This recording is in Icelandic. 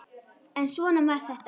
En svona var þetta.